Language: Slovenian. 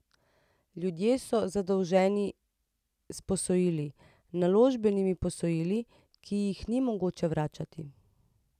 Ljudje so zadolženi s posojili, naložbenimi posojili, ki jih ni mogoče vračati.